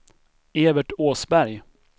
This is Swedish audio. Evert Åsberg